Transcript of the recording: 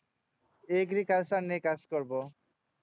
agriculture নিয়ে কাজ করবো